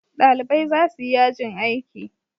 Ɗalibai za su yi yajin aiki.